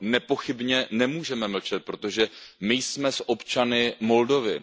No nepochybně nemůžeme mlčet, protože my jsme s občany Moldavska.